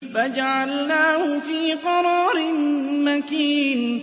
فَجَعَلْنَاهُ فِي قَرَارٍ مَّكِينٍ